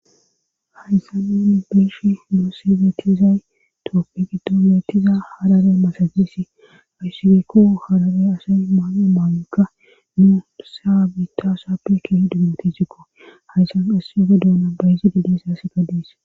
hayssa nun beeyishn moosibetizay tooppik doletiza harare masagesi ayssibeekko harare asay maamo maawekka nuu saa bitasaappe keeh dummati zikko hayssan asseyofe duuna bayizi didesa se ga diis